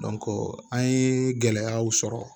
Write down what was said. an ye gɛlɛyaw sɔrɔ